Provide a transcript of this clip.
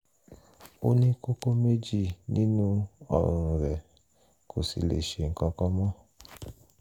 ó ní kókó méjì nínú ọrùn rẹ̀ kò sì lè ṣe nǹkan kan mọ́